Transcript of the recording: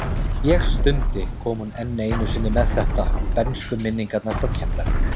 Ég stundi, kom hún enn einu sinni með þetta, bernskuminningarnar frá Keflavík.